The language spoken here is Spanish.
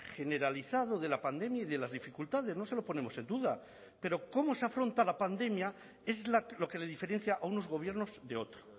generalizado de la pandemia y de las dificultades no se lo ponemos en duda pero cómo se afronta la pandemia es lo que le diferencia a unos gobiernos de otro